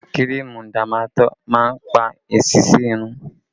Kírìmù Dámátọ̀ máa ń pa èsísí irun